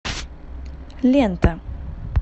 лента